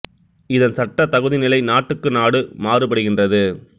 இதன் சட்ட தகுதி நிலை நாட்டுக்கு நாடு மாறு படுகின்றது